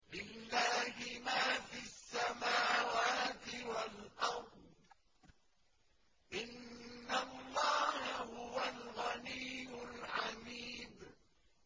لِلَّهِ مَا فِي السَّمَاوَاتِ وَالْأَرْضِ ۚ إِنَّ اللَّهَ هُوَ الْغَنِيُّ الْحَمِيدُ